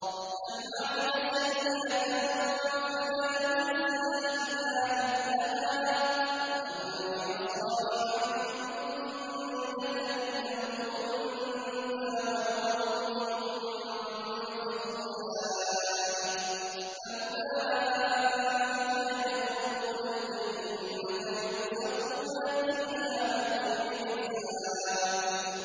مَنْ عَمِلَ سَيِّئَةً فَلَا يُجْزَىٰ إِلَّا مِثْلَهَا ۖ وَمَنْ عَمِلَ صَالِحًا مِّن ذَكَرٍ أَوْ أُنثَىٰ وَهُوَ مُؤْمِنٌ فَأُولَٰئِكَ يَدْخُلُونَ الْجَنَّةَ يُرْزَقُونَ فِيهَا بِغَيْرِ حِسَابٍ